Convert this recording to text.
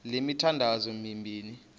le mithandazo mibini